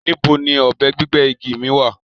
Níbó ni ọbẹ̀ gbigbẹ́ igi mi wà?